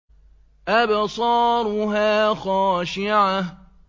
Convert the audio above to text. أَبْصَارُهَا خَاشِعَةٌ